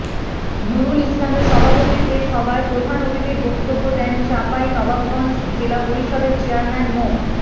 নুরুল ইসলামের সভাপতিত্বে সভায় প্রধান অতিথির বক্তব্য দেন চাঁপাইনবাবগঞ্জ জেলা পরিষদের চেয়ারম্যান মো